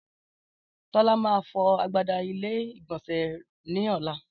Tólá má fọ agbada ilé ìgbònsè ní ọ̀la